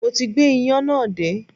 Mo ti gbé iyán náà dé